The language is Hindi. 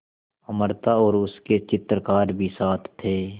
अमृता और उसके चित्रकार भी साथ थे